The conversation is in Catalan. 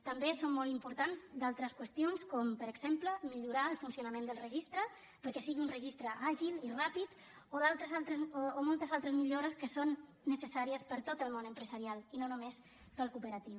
també són molt importants altres qüestions com per exemple millorar el funcionament del registre perquè sigui un registre àgil i ràpid o moltes altres millores que són necessàries per a tot el món empresarial i no només per al co operatiu